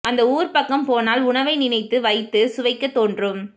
அந்த ஊர் பக்கம் போனால் உணவை நினைவு வைத்து சுவைக்கத் தோன்றும்